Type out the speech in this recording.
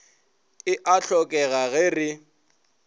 e a hlokega ge re